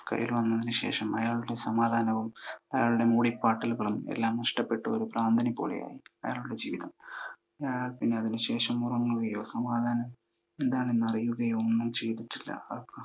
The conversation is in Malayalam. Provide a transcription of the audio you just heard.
കൈയിൽ വന്നതിനു ശേഷം അയാളുടെ സമാധാനവും അയാളുടെ മൂളിപാട്ടുകളും എല്ലാം നഷ്ടപ്പെട്ടു. ഒരു ഭ്രാന്തനെ പോലെയായി അയാളുടെ ജീവിതം. പിന്നെ അതിനു ശേഷം ഉറങ്ങുകയോ സമാധാനം എന്താണെന്നറിയുകയോ ഒന്നും ചെയ്‌തിട്ടില്ല.